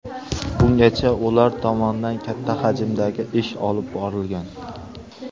Bungacha ular tomonidan katta hajmdagi ish olib borilgan.